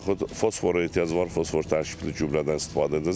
və yaxud fosfora ehtiyac var, fosfor tərkibli gübrədən istifadə edəcək.